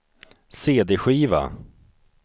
cd-skiva